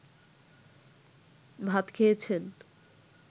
ভাত খেয়েছেন